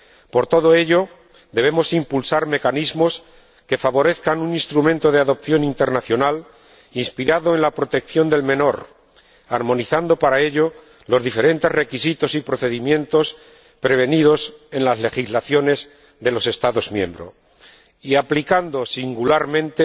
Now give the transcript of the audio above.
Por todo ello, debemos impulsar mecanismos que favorezcan un instrumento de adopción internacional inspirado en la protección del menor, armonizando para ello los diferentes requisitos y procedimientos previstos en las legislaciones de los Estados miembros, aplicando singularmente